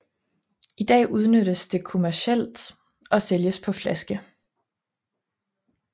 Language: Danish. I dag udnyttes det kommercielt og sælges på flaske